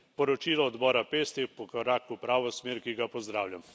Poročilo odbora PEST je korak v pravo smer, ki ga pozdravljam.